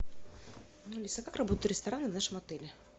алиса как работают рестораны в нашем отеле